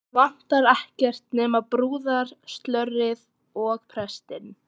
Vantaði ekkert nema brúðarslörið og prestinn.